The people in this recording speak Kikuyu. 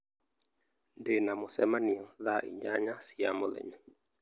Ndĩ na mũcemanio thaa inyanya cia mũthenya